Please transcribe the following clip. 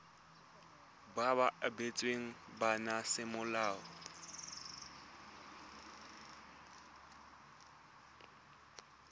ba ba abetsweng bana semolao